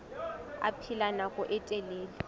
a phela nako e telele